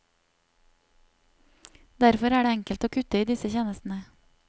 Derfor er det enkelt å kutte i disse tjenestene.